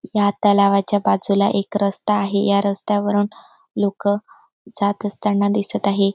ह्या तलावाच्या बाजूला एक रस्ता आहे या रस्त्यावरून लोक जात असताना दिसत आहे.